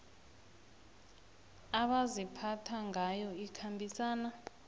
abaziphatha ngayo ikhambisana